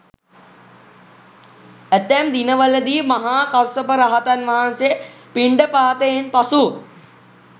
ඇතැම් දිනවලදී මහා කස්සප රහතන් වහන්සේ පිණ්ඩපාතයෙන් පසු